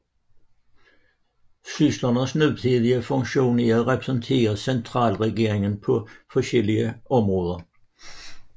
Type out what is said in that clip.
Syslernes nutidige funktion er at repræsentere centralregeringen på forskellige områder